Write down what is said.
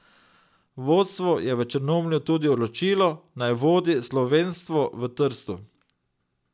Vodstvo je v Črnomlju tudi odločilo, naj vodi slovenstvo v Trstu.